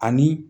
Ani